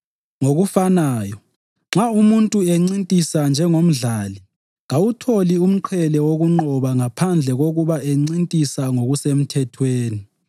Ngokufanayo, nxa umuntu encintisa njengomdlali kawutholi umqhele wokunqoba ngaphandle kokuba encintisa ngokusemthethweni.